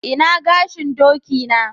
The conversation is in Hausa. Ina gashin doki na?